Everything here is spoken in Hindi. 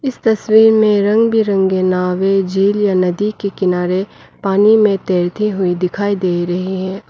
इस तस्वीर में रंग बिरंगे नावे झील या नदी के किनारे पानी में तैरती हुई दिखाई दे रही हैं।